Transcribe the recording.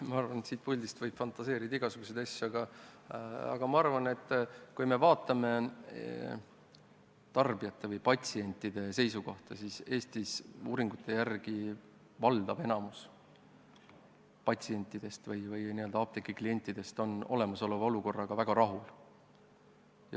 Ma arvan, et siit puldist võib fantaseerida igasuguseid asju, aga kui vaadata tarbijate või patsientide seisukohta, siis Eestis on uuringute järgi valdav osa patsientidest või n-ö apteegi klientidest olemasoleva olukorraga väga rahul.